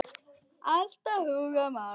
Alltaf að hugsa um aðra.